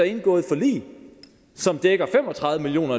indgået forlig som dækker fem og tredive million